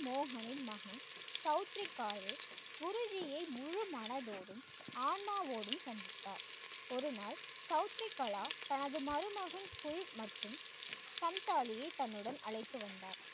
மோகனின் மகன் சௌத்ரிகாரே குருஜியை முழு மனதோடும், ஆன்மாவோடும் சந்தித்தார் ஒரு நாள் சவுத்ரிகலா தனது மருமகன் full மற்றும் சந்தாலியை தன்னுடன் அழைத்து வந்தார்.